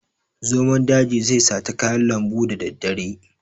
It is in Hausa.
Zomon daji zai sata kayan lambu da daddare.